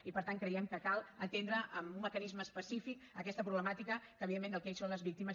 i per tant creiem que cal atendre amb un mecanisme específic aquesta problemàtica evidentment de la que elles són les víctimes